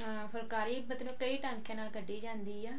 ਹਾਂ ਫੁੱਲਕਾਰੀ ਮਤਲਬ ਕਈ ਟਾਂਕਿਆਂ ਨਾਲ ਕਢੀ ਜਾਂਦੀ ਆ